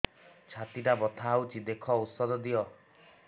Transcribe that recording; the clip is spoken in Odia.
ଛାତି ଟା ବଥା ହଉଚି ଦେଖ ଔଷଧ ଦିଅ